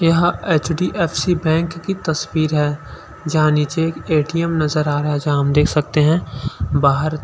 यहाँ H. D. F. C. Bank की तस्वीर है जहाँ नीचे ए. टी. एम. नज़र आ रहा है जहाँ हम देख सकते है बाहर--